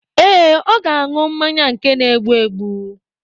Ee, ọ ga-aṅụ mmanya nke na-egbu egbu.